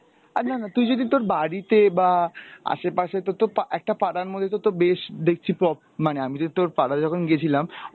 আরে না না তুই যদি তোর বাড়িতে বা আশেপাশে তো তোর তো একটা পাড়ার মধ্যে তো তোর বেশ দেখছি prop~ মানে আমি যদি তোর পাড়ায় যখন গেছিলাম